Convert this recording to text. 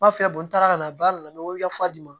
N b'a f'i ye n taara ka na ba nana n bɛ wili ka fa d'i ma